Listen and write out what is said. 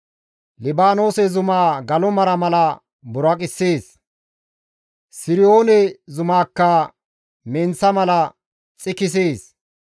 Libaanoose zumaa galo mara mala buraqissees; Siriyoone zumaakka menththa mala xikisees.